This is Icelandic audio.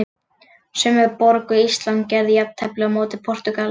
Sömu borg og Ísland gerði jafntefli á móti Portúgal.